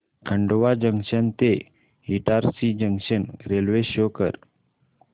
Khandwa junction ते Itarsi junction railway show कर